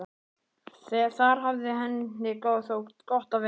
Þar hafði henni þótt gott að vera.